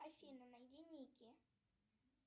афина найди ники